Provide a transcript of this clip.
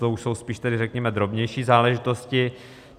To už jsou spíš tedy, řekněme, drobnější záležitosti.